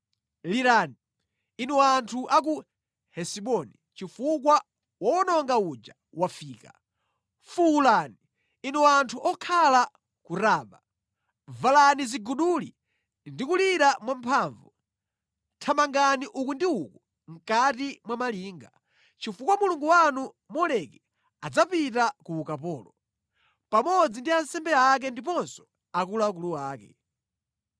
“Lirani, inu anthu a ku Hesiboni chifukwa wowononga uja wafika! Fuwulani, inu anthu okhala ku Raba! Valani ziguduli ndi kulira mwamphamvu; thamangani uku ndi uku mʼkati mwa malinga, chifukwa mulungu wanu Moleki adzapita ku ukapolo, pamodzi ndi ansembe ake ndiponso akuluakulu ake.